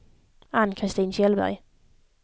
Ann-Christin Kjellberg